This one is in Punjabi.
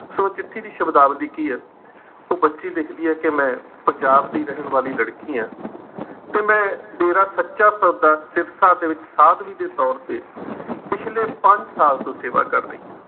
ਸੋ ਚਿੱਠੀ ਦੀ ਸ਼ਬਦਾਵਲੀ ਕੀ ਹੈ ਉਹ ਬੱਚੀ ਲਿਖਦੀ ਹੈ ਕਿ ਮੈਂ, ਪੰਜਾਬ ਦੀ ਰਹਿਣ ਵਾਲੀ ਲੜਕੀ ਹਾਂ ਤੇ ਮੈਂ, ਡੇਰਾ ਸੱਚਾ ਸੌਦਾ ਸਿਰਸਾ ਦੇ ਵਿੱਚ ਸਾਧਵੀ ਦੇ ਤੌਰ ਤੇ ਪਿਛਲੇ ਪੰਜ ਸਾਲ ਤੋਂ ਸੇਵਾ ਕਰ ਰਹੀ ਹਾਂ।